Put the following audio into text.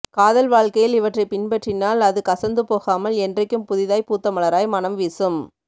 காதல் வாழ்க்கையில் இவற்றை பின்பற்றினால் அது கசந்துபோகாமல் என்றைக்கும் புதிதாய் பூத்த மலராய் மணம் வீசும்